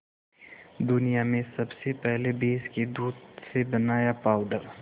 दुनिया में सबसे पहले भैंस के दूध से बनाया पावडर